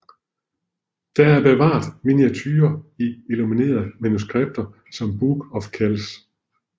Der er bevaret miniaturer i illuminerede manuskripter som Book of Kells